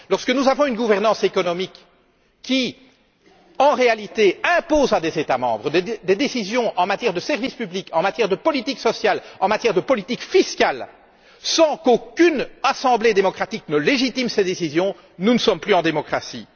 Lorsque nous avons une gouvernance économique qui, en réalité, impose à des États membres des décisions en matière de service public, de politique sociale et de politique fiscale sans qu'aucune assemblée démocratique ne légitime ces décisions, nous ne sommes plus en démocratie.